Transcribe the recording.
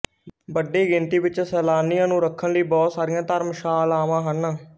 ਵੱਡੀ ਗਿਣਤੀ ਵਿੱਚ ਸੈਲਾਨੀਆਂ ਨੂੰ ਰੱਖਣ ਲਈ ਬਹੁਤ ਸਾਰੀਆਂ ਧਰਮਸ਼ਾਲਾਵਾਂ ਹਨ